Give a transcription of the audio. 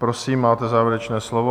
Prosím, máte závěrečné slovo.